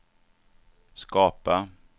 skapa